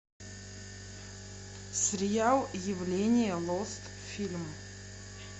сериал явление лост фильм